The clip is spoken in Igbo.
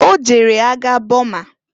O jere agha Boma.